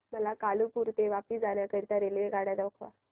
मला कालुपुर ते वापी जाण्या करीता रेल्वेगाड्या दाखवा